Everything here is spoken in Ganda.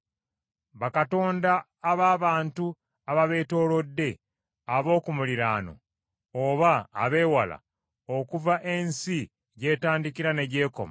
bakatonda ab’abantu ababeetoolodde, ab’oku muliraano, oba abeewala, okuva ensi gy’etandikira ne gy’ekoma,